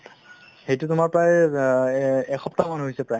সেইটো তোমাৰ প্ৰায় অ এই এ~ এসপ্তাহমান হৈছে প্ৰায়